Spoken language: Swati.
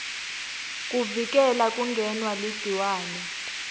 kuvikela kungenwa ligciwane